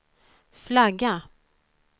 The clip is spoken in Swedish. flagga